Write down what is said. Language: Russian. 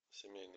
семейный